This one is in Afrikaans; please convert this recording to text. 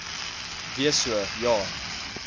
wees so ja